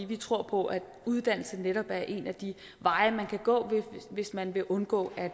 vi tror på at uddannelse netop er en af de veje man kan gå hvis man vil undgå at